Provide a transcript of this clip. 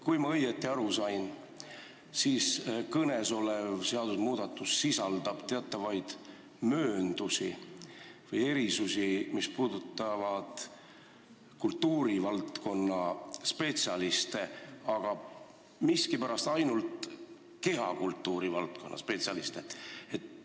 Kui ma õigesti aru sain, siis kõnesolev seadusmuudatus sisaldab teatavaid mööndusi või erisusi, mis puudutavad kultuurivaldkonna spetsialiste, aga miskipärast ainult kehakultuuri valdkonna spetsialiste.